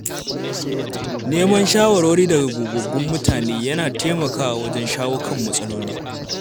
Neman shawarwari daga gogaggun mutane yana taimakawa wajen shawo kan matsaloli.